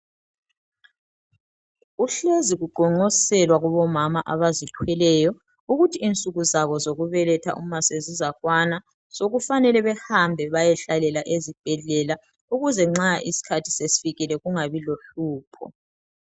Kuhlezi kuqonqoselwa kubomama abazithweleyo ukuthi insuku zabo zokubeletha uma sezizakwana, sokufanele behambe bayehlalela ezibhedlela ukuze nxa iskhathi sesfikile kungabi lohlupho.